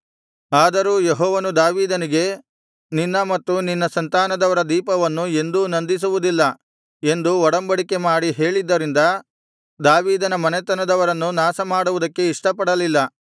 ಆದರೂ ಯೆಹೋವನು ದಾವೀದನಿಗೆ ನಿನ್ನ ಮತ್ತು ನಿನ್ನ ಸಂತಾನದವರ ದೀಪವನ್ನು ಎಂದೂ ನಂದಿಸುವುದಿಲ್ಲ ಎಂದು ಒಡಂಬಡಿಕೆ ಮಾಡಿ ಹೇಳಿದ್ದರಿಂದ ದಾವೀದನ ಮನೆತನದವರನ್ನು ನಾಶಮಾಡುವುದಕ್ಕೆ ಇಷ್ಟಪಡಲಿಲ್ಲ